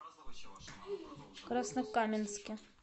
краснокаменске